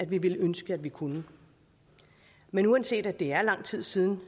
vi ville ønske at vi kunne men uanset at det er lang tid siden